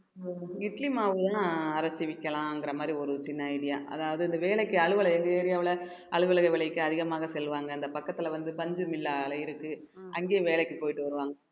இட்லி மாவு எல்லாம் அரைச்சு விற்கலாங்கிற மாதிரி ஒரு சின்ன idea. அதாவது இந்த வேலைக்கு அலுவல் எங்க area வுல அலுவலக வேலைக்கு அதிகமாக செல்வாங்க அந்த பக்கத்துல வந்து பஞ்சுமில்லா அலை இருக்கு அங்கேயும் வேலைக்கு போயிட்டு வருவாங்க